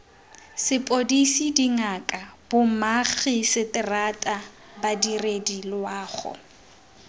sepodisi dingaka bomagiseterata badiredi loago